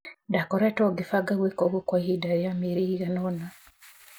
Ndaakoretwo ngĩbanga gwĩka ũguo kwa ihinda rĩa mĩeri ĩigana ũna.